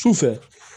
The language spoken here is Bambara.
Sufɛ